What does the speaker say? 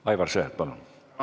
Aivar Sõerd, palun!